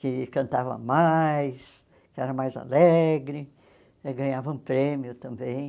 que cantava mais, que era mais alegre, ganhavam prêmio também.